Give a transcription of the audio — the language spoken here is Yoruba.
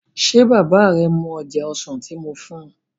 Ṣé bàbá rẹ mu oje ọsàn tí moo fún un?